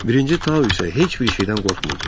Birinci Tau isə heç bir şeydən qorxmurdu.